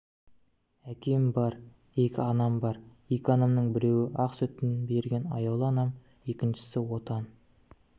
әкем бар екі анам бар екі анамның біреуі ақ сүтін берген аяулы анам екіншісі отан